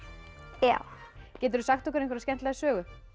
já geturðu sagt okkur einhverja skemmtilega sögu